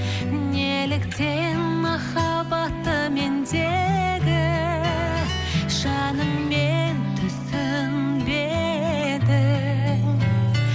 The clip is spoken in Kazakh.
неліктен махаббатты мендегі жаныңмен түсінбедің